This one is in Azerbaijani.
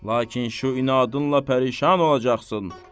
Lakin bu inadınla pərişan olacaqsan.